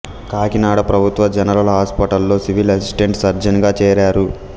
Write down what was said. కాకినాడ ప్రభుత్వ general hospital లో civil assistant surgeon గా చేరారు